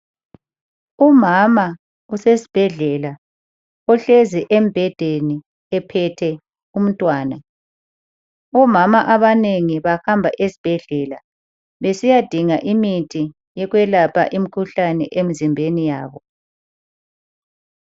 Umama usesibhedlela ohlezi embhedeni ephethe umntwana. Omama abanengi bahamba esibhedlela besiyadinga imithi yokwelapha imkhuhlane emzimbeni yabo.